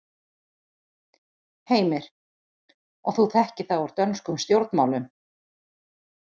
Heimir: Og þú þekkir það úr dönskum stjórnmálum?